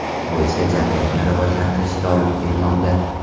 Bu esa jamiyatni rivojlantirishga olib kelmoqda.